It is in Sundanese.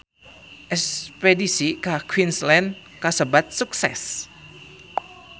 Espedisi ka Queensland kasebat sukses